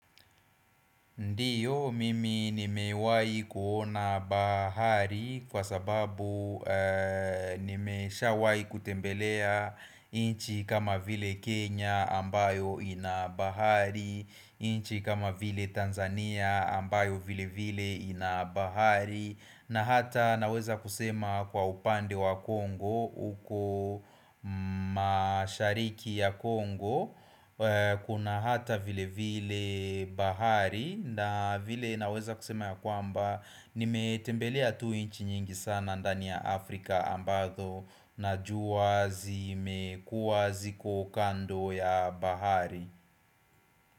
Ndiyo, mimi nimewahi kuona bahari kwa sababu nimeshawahi kutembelea nchi kama vile Kenya ambayo ina bahari, nchi kama vile Tanzania ambayo vile vile ina bahari na hata naweza kusema kwa upande wa congo huko mashariki ya congo Kuna hata vile vile bahari na vile naweza kusema ya kwamba Nimetembelea tu nchi nyingi sana ndani ya Afrika ambazo najua zimekuwa ziko kando ya bahari.